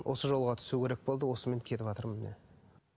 осы жолға түсу керек болды осымен кетіватырмын міне